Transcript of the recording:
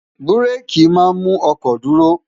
bú́réèkì máa ń mú ọkọ̀ dúró